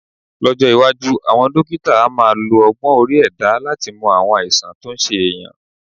Lọ́jọ́ iwájú, àwọn dókítà á máa lo ọgbọ́n orí ẹ̀dá láti mọ àwọn àìsàn tó ń ṣe èèyàn